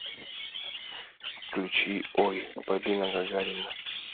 включи ой полина гагарина